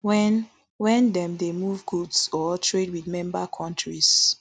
wen wen dem dey move goods or trade with member kontries